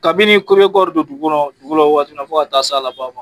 Kabini kɔɔri bɛ bɔ f'o waati fɔ ka ta'a s'a laban ma.